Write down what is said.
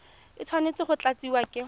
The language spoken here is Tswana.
e tshwanetse go tlatsiwa ke